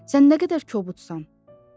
Sən nə qədər kobudsan.